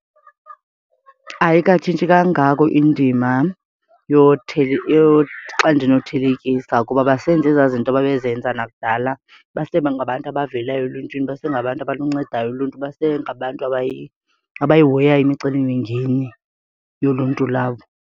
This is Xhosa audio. Ayikatshintshi kangako indima xa ndinothelekisa kuba basenza ezaa zinto babezenza nakudala. Basebangabantu abavelayo eluntwini, basengabantu abaluncedayo uluntu, basengabantu abayihoyayo imicelimingeni yoluntu labo.